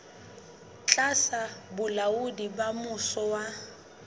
tlasa bolaodi ba mmuso wa